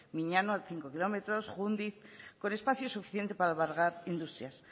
miñano a cinco kilómetros jundiz con espacio suficiente para albergar industrias